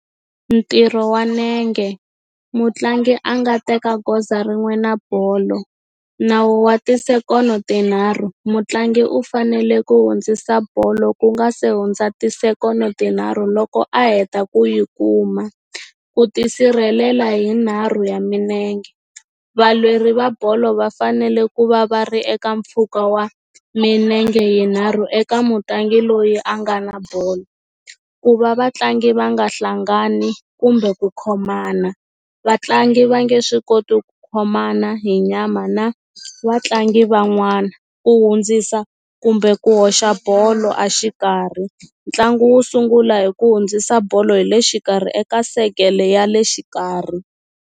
Ntirho wa nenge mutlangi a nga teka goza rin'we na bolo nawu wa tisekono tinharhu mutlangi u fanele ku hundzisa bolo ku nga se hundza tisekono tinharhu loko a heta ku yi kuma ku tisirhelela hi nharhu ya minenge valweri va bolo va fanele ku va va ri eka mpfhuka wa minenge yinharhu eka mutlangi loyi a nga na bolo ku va vatlangi va nga hlangani kumbe ku khomana vatlangi va nge swi koti ku khomana hi nyama na vatlangi van'wana ku hundzisa kumbe ku hoxa bolo a xikarhi ntlangu wu sungula hi ku hundzisa bolo hi le xikarhi eka sekele ya le xikarhi.